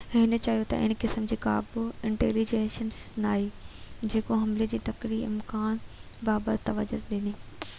هن چيو تہ ان قسم جي ڪا بہ انٽيليجينس ناهي جيڪو حملي جي تڪڙي امڪان بابت تجويز ڏي